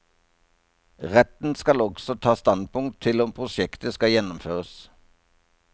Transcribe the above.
Retten skal også ta standpunkt til om prosjektet skal gjennomføres.